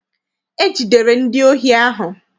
E jidere ndi ohi ahụ.